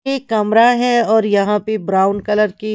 ये कमरा है और यहां पे ब्राउन कलर की।